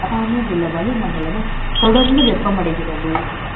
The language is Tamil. அருகாமை யில் உள்ள வளிமண்டலமும், த ொடர்ந்து வெ ப்பமடை கிறது